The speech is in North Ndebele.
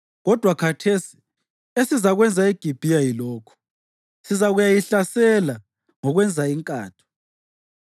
Kodwa khathesi esizakwenza eGibhiya yilokhu: Sizakuyayihlasela ngokwenza inkatho.